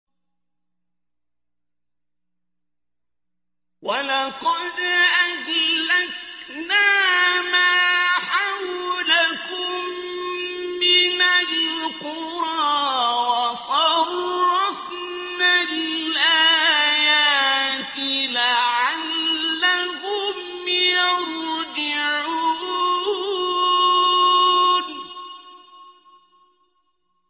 وَلَقَدْ أَهْلَكْنَا مَا حَوْلَكُم مِّنَ الْقُرَىٰ وَصَرَّفْنَا الْآيَاتِ لَعَلَّهُمْ يَرْجِعُونَ